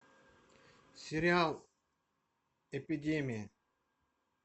сериал эпидемия